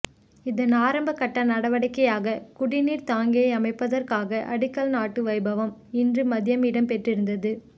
இதன் ஆரம்ப கட்ட நடவடிக்கையாக குடி நீர் தாங்கியை அமைப்பதற்கான அடிக்கல் நாட்டும் வைபவம் இன்று மதியம் இடம்பெற்றிருந்தது